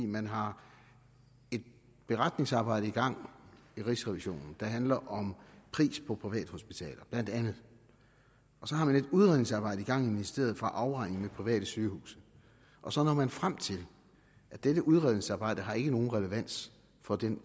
man har et beretningsarbejde i gang i rigsrevisionen der handler om pris på privathospitaler og så har man et udredningsarbejde i gang i ministeriet for afregning med private sygehuse og så når man frem til at dette udredningsarbejde ikke har nogen relevans for den